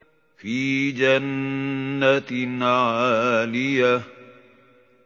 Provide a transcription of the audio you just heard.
فِي جَنَّةٍ عَالِيَةٍ